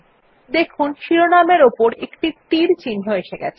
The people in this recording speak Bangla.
দেখুন শিরোনামের উপর একটি তীর চিহ্ন এসেছে